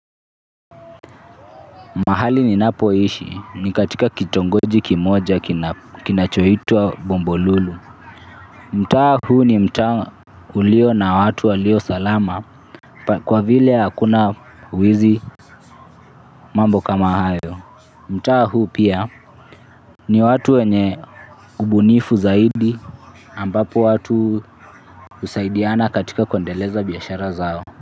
Mahali ninapoishi ni katika kitongoji kimoja kinachoitwa bombo lulu. Mtaa huu ni mta uliyo na watu waliyo salama kwa vile hakuna wizi mambo kama hayo. Mtaa huu pia. Ni watu wenye ubunifu zaidi ambapo watu husaidiana katika kuendeleza biashara zao.